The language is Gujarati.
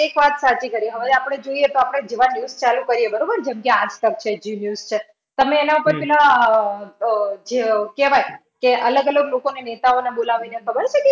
એક વાત સાચી કરી. હવે આપણે જોઈએ તો આપણે જેવા news ચાલુ કર્યે બરોબર? જેમ કે આજતક છે, zeenews છે. તમે ઇ ના ઉપર પેલા અ જે કહેવાય કે અલગ-અલગ લોકોને નેતાઓને બોલાવીને ખબર છે